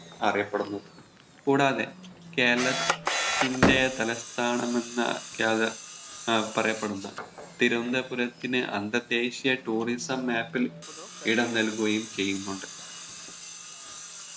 അറിയപ്പെടുന്നത് കൂടാതെ കേരള ത്തിന്റെ തലസ്ഥാനം എന്ന ഏർ പറയപ്പെടുന്ന തിരുവന്തപുരത്തിന് അന്തർദേശിയ Tousism Map ൽ ഇടം നൽകുകയും ചെയ്യുന്നുണ്ട്